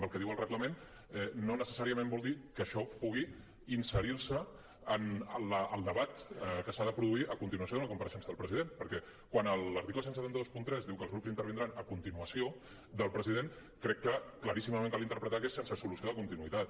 el que diu el reglament no necessàriament vol dir que això pugui inserir se en el debat que s’ha de produir a continuació d’una compareixença del president perquè quan l’article disset vint tres diu que els grups intervindran a continuació del president crec que claríssimament cal interpretar que és sense solució de continuïtat